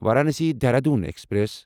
Varanasi Dehradun express